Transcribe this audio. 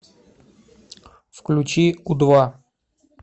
включи у два